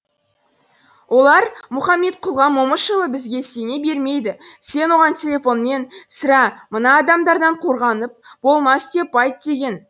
олар мұхаметқұлға момышұлы бізге сене бермейді сен оған телефонмен сірә мына адамдардан қорғанып болмас деп айт деген